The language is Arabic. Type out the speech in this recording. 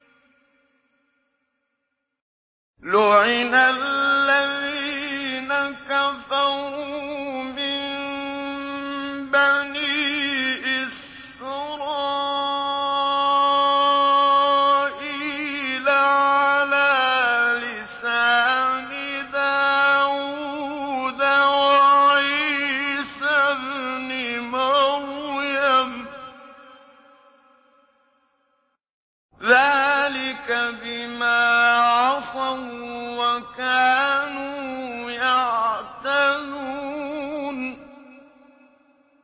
لُعِنَ الَّذِينَ كَفَرُوا مِن بَنِي إِسْرَائِيلَ عَلَىٰ لِسَانِ دَاوُودَ وَعِيسَى ابْنِ مَرْيَمَ ۚ ذَٰلِكَ بِمَا عَصَوا وَّكَانُوا يَعْتَدُونَ